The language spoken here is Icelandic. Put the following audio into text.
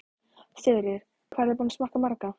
Sigríður: Hvað eruð þið búin að smakka marga?